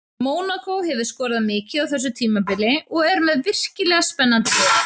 Mónakó hefur skorað mikið á þessu tímabili og er með virkilega spennandi lið.